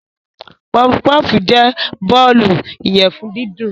Puffpuff jẹ́ bọ́ọ̀lù ìyẹ̀fun dídùn.